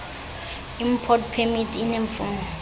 import permit ineemfuno